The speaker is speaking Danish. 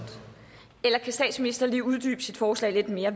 eller kan statsministeren lige uddybe sit forslag lidt mere